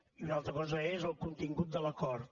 i una altra cosa és el contingut de l’acord